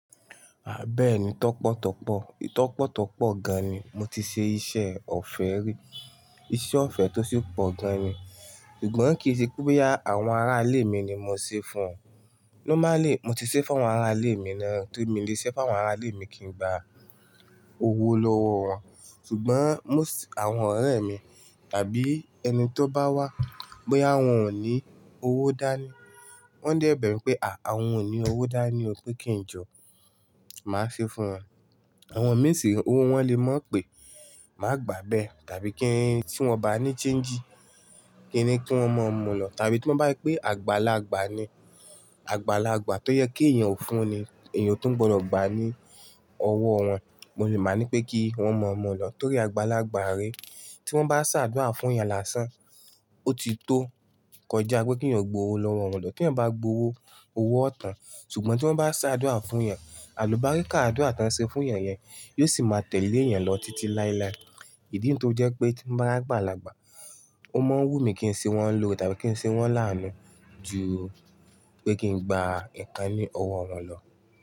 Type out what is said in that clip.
À bẹ́ẹ́ni tọ́pọ̀tọ́pọ̀, ìtọ́pọ̀tọ́pọ̀ gan ni mo ti ṣe iṣẹ́ ọ̀fẹ́ rí, iṣẹ́ ọ̀fẹ́ tó sì pọ̀ gan ni, ṣùgbọ́n kì í ṣe pé boya àwọn ará ilé mi ni mo ṣe fún wọn. Normally mo ti ṣe fún àwọn ará ilé mi ná, tóri mi le ṣise fún àwọn ará ilé mi kí n gba owó lọ́wọ́ wọn. Ṣùgbọ́n most àwọn ọ̀rẹ́ mi tàbí ẹni tí ó bá wá bóyá wọn ò ní owó dání, wọ́n dẹ̀ bẹ̀mi pé à àwọn ò ní owó dání o pé kí n jọ, màá ṣe fún wọn. Àwọn mí sì re, owó wọn le mọ̀ pé máa gbà bẹ́ẹ̀ tàbí kí n tí wọ́n o bá ní change, kín ni kí wọ́n mọ̀ mu lọ tàbí tí wọ́n bá pé àgbàlagbà ni, àgbàlagbà tó yẹ kí èèyàn ó fún ni, èèyàn o tun gbọdọ̀ gba ní ọwọ́ wọn, mo lè má ní pé kí wọ́n mọ̀ mọ̀ lọ torí àgbàlagbà rè. Tí wọ́n bá sáàdúra fún èèyàn lásán, ó ti tó kọjá pé kí èèyàn gbo owó lọ́wọ́ wọn lọ. T'eeyan bá gbowó, owó ọ̀ tán. Ṣùgbọ́n tí wọ́n bá sáàdúra fún èèyàn, àlùbáríkà adura tí wọ́n ṣe fún èèyàn yẹn yóò sì máa tẹ̀lé èèyàn lọ títí láéláé. Ìdí nu tó fi jẹ́ pé tí n bá r'ágbàlagbà, ó máa ń wú mi kí n ṣe wọ́n lòore tàbí kí n ṣe wọ́n làánu ju pé kí n gba nkán ni ọwọ́ wọn lọ.